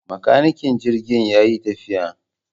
Makanikin jirgin yayi tafiya